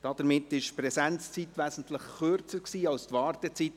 Damit war die Präsenzzeit von Herrn Müller wesentlich kürzer als seine Wartezeit.